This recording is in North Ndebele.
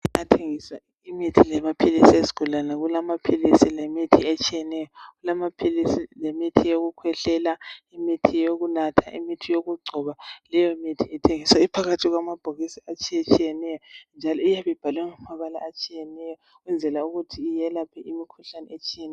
Kuyathengiswa imithi lamaphilisi ezigulane. Kulamaphilisi lemithi etshiyeneyo. Kulamaphilisi lemithi yokukhwehlela, imithi yokunatha imithi. yokugcoba, yokukhwehlela Leyomithi ithengiswa iphakathi kwamabhokisi atshiyetshiyeneyo, njalo iyabe ibhalwe ngamabala atshiyeneyo.,Ukuze yelaphe imikhuhlane etshiyeneyo.i